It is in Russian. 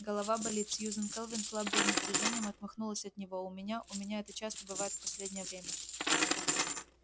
голова болит сьюзен кэлвин слабым движением отмахнулась от него у меня у меня это часто бывает в последнее время